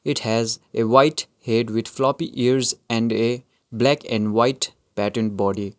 it has a white head with floppy ears and a black and white pattern body.